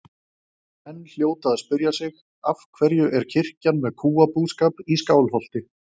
Menn hljóta að spyrja sig: Af hverju er kirkjan með kúabúskap í Skálholti?